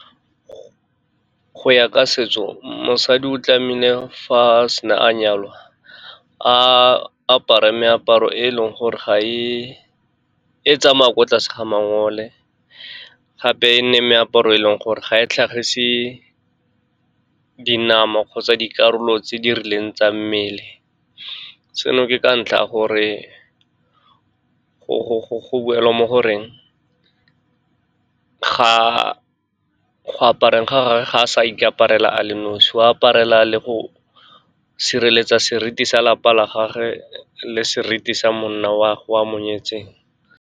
Go ya ka setso, mosadi o tlamehile fa a sena a nyalwa, a apare meaparo e leng gore e tsamayang ko tlase ga mangwele. Gape e nne meaparo e leng gore ga e tlhagise dinama kgotsa dikarolo tse di rileng tsa mmele. Se no ke ka ntlha ya gore go buelwa mo goreng go apareng ga gage, ga a sa ikaparela a le nosi, o aparela le go sireletsa seriti sa lapa la gagwe le seriti sa monna wa ge o a mo nyetseng.